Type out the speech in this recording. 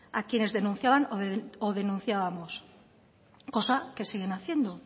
a quienes denunciaban o denunciábamos cosa que siguen haciendo